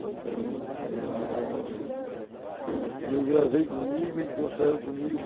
Então, é um negócio que eu gravei comigo e conservo comigo.